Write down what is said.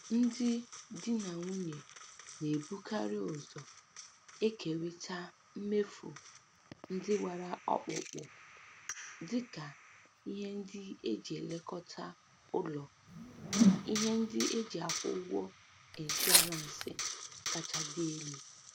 Ndị di na nwunye na-ebukarị ụzọ ekerita mmefu ndị gbara ọkpụkpụ, dịka ihe ndị e ji elekọta ụlọ na ihe ndị e ji akwụ ụgwọ ịnshọransị kacha dị elu.